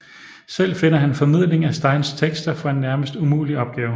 Selv finder han en formidling af Steins tekster for en nærmest umulig opgave